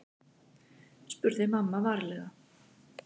spurði mamma varlega.